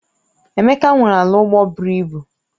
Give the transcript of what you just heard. Emeka nwere ala ugbo buru ibu